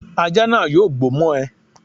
Ajá náà yóò gbó mọ́ ẹ